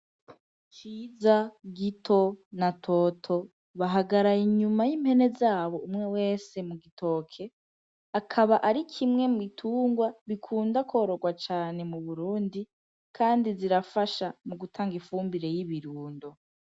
Ciza, Gito na Toto bahagaraye inyuma y'impene zabo umwe wese mu gitoke, akaba ari mu bitungwa bikunda kwororwa cane mu Burundi kandi zirafasha mu gutanga ifumbire y'ibirundo.